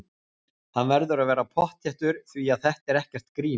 Hann verður að vera pottþéttur því að þetta er ekkert grín!